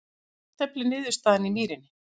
Jafntefli niðurstaðan í Mýrinni